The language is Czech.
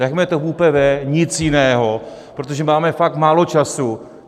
Nechme to v ÚPV, nic jiného, protože máme fakt málo času.